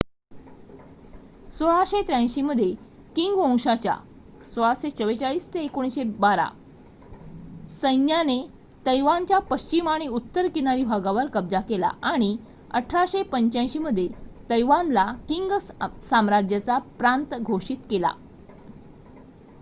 १६८३ मध्ये किंग वंशाच्या १६४४-१९१२ सैन्याने तैवानच्या पश्चिम आणि उत्तर किनारी भागांवर कब्जा केला आणि १८८५ मध्ये तैवानला किंग साम्राज्याचा प्रांत घोषित केला